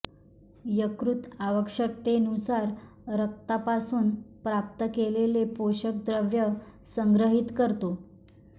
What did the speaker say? यकृत आवश्यकतेनुसार रक्तापासून प्राप्त केलेले पोषक द्रव्ये संग्रहित करतो